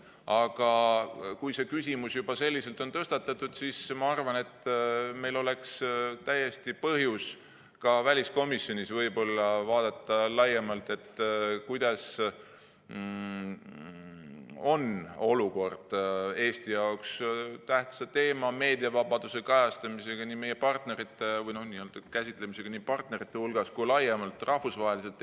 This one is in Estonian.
Aga kui see küsimus juba selliselt on tõstatatud, siis ma arvan, et meil oleks täiesti põhjust ka väliskomisjonis võib-olla laiemalt vaadata, kuidas on olukord Eesti jaoks tähtsa teema, meediavabaduse kajastamisega või käsitlemisega nii partnerite hulgas kui ka laiemalt rahvusvaheliselt.